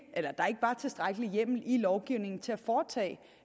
var tilstrækkelig hjemmel i lovgivningen til at foretage